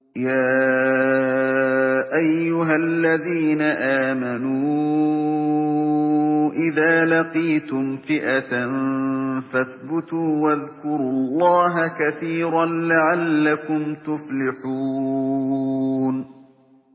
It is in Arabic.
يَا أَيُّهَا الَّذِينَ آمَنُوا إِذَا لَقِيتُمْ فِئَةً فَاثْبُتُوا وَاذْكُرُوا اللَّهَ كَثِيرًا لَّعَلَّكُمْ تُفْلِحُونَ